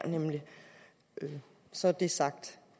så er det sagt